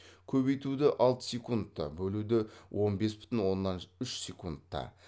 көбейтуді алты секундта бөлуді он бес бүтін оннан үш секундта